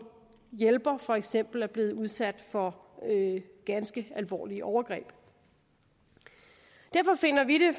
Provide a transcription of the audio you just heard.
hjælper for eksempel er blevet udsat for ganske alvorlige overgreb derfor finder vi det